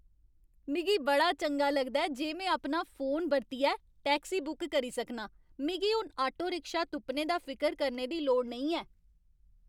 मिगी बड़ा चंगा लगदा ऐ जे में अपना फोन बरतियै टैक्सी बुक करी सकनां। मिगी हून आटो रिक्शा तुप्पने दा फिकर करने दी लोड़ नेईं ऐ।